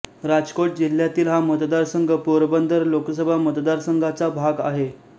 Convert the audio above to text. राजकोट जिल्ह्यातील हा मतदारसंघ पोरबंदर लोकसभा मतदारसंघाचा भाग आहे